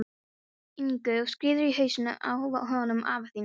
Ingu og skírður í hausinn á honum afa þínum.